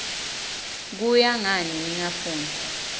kuya ngani ningafuni